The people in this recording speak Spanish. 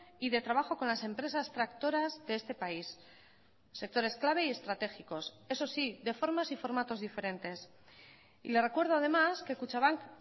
y de trabajo con las empresas tractoras de este país sectores clave y estratégicos eso sí de formas y formatos diferentes y le recuerdo además que kutxabank